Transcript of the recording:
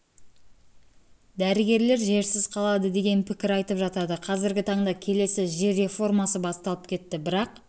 дәрігерлер жерсіз қалады деген пікір айтып жатады қазіргі таңда келесі жер реформасы басталып кетті бірақ